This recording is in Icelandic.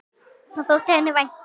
Það þótti henni vænt um.